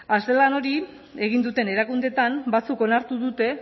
azterlan hori egin duten erakundeetan batzuek onartu dute